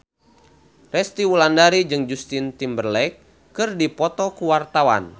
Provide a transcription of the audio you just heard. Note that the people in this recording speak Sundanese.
Resty Wulandari jeung Justin Timberlake keur dipoto ku wartawan